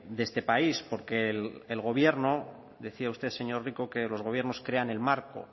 de este país porque el gobierno decía usted señor rico que los gobiernos crean el marco